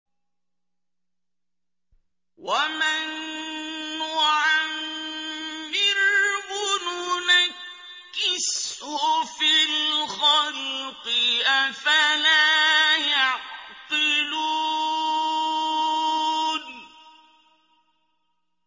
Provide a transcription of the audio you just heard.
وَمَن نُّعَمِّرْهُ نُنَكِّسْهُ فِي الْخَلْقِ ۖ أَفَلَا يَعْقِلُونَ